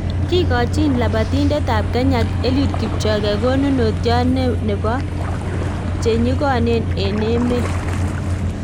Kigochin labatindetab Kenya Eliud Kipchoge konunotiot nebo nebo che nyigonen en emet